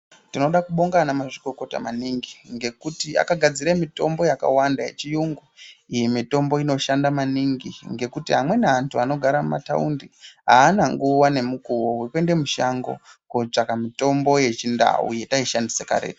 Tinoda kubonga ana mazvikokota maningi ngekuti akagadzire mitombo yakawanda yechiyungu, iyi mitombo inoshanda maningi ngekuti amweni antu anogara mumataundi aana nguwa nemukuwo wekuende mushango kotsvaka mitombo yechindau yetaishandisa karetu.